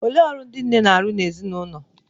Olee ọrụ ndị nne na-arụ n'ezinụlọ?